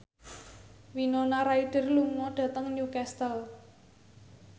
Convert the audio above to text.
Winona Ryder lunga dhateng Newcastle